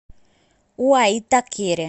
уаитакере